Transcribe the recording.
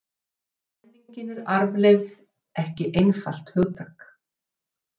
Eins og menning er arfleifð ekki einfalt hugtak.